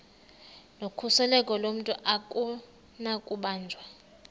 nokhuseleko lomntu akunakubanjwa